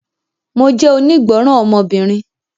Mo jẹ́ onígbọ́ràn ọmọbìnrin